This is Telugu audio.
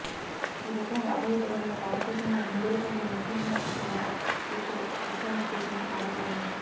ఈ లెక్కన రాబోయే పదేళ్లలో భారతదేశంలో హిందువుల కంటే ముస్లింల జనాభా ఎక్కువై ఇస్లామిక్ దేశంగా మారి పోతుంది